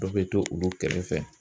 Dɔ bɛ to olu kɛrɛfɛ.